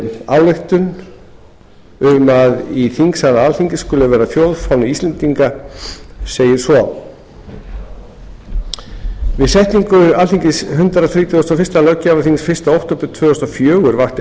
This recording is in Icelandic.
ályktun um að í þingsal alþingis skuli vera þjóðfáni íslendinga segir svo við setningu alþingis hundrað þrítugasta og fyrstu löggjafarþings fyrsta október tvö þúsund og fjögur vakti